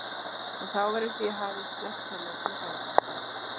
Og þá var eins og ég hefði snert hana með galdrastaf.